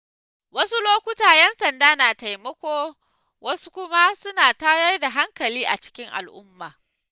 Wasu lokuta 'yan sanda na taimako wasu kuma suna tayar da hankali a cikin al'umma.